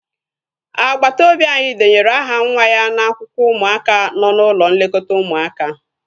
Agbata obi anyị denyere aha nwa ya n'akwụkwọ ụmụaka nọ n'ụlọ nlekọta ụmụaka